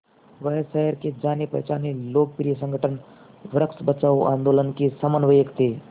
वह शहर के जानेपहचाने लोकप्रिय संगठन वृक्ष बचाओ आंदोलन के समन्वयक थे